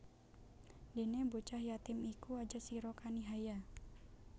Dene bocah yatim iku aja sira kanihaya